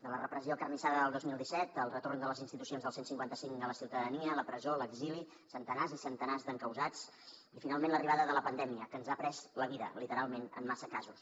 de la repressió acarnissada del dos mil disset el retorn de les institucions del cent i cinquanta cinc a la ciutadania la presó l’exili centenars i centenars d’encausats i finalment l’arribada de la pandèmia que ens ha pres la vida literalment en massa casos